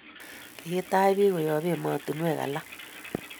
kikitach pik koyab ematunywek alak